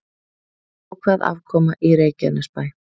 Jákvæð afkoma í Reykjanesbæ